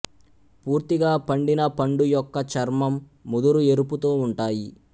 పూర్తిగా పండిన పండు యొక్క చర్మం ముదురు ఎరుపుతో ఉంటాయి